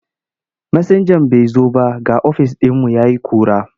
Masinjan bai zo ba ga ofis ɗin ya yi ƙura.